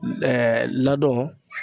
ladon